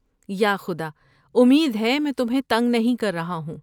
یا خدا! امید ہے میں تمہیں تنگ نہیں کر رہا ہوں۔